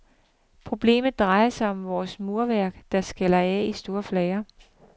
Problemet drejer sig om vores murværk, der skaller af i store flager.